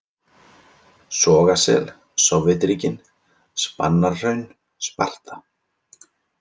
Sogasel, Sovétríkin, Spanarhraun, Sparta